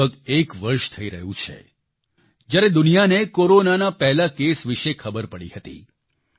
લગભગ એક વર્ષ થઈ રહ્યું છે જ્યારે દુનિયાને કોરોનાના પહેલા કેસ વિશે ખબર પડી હતી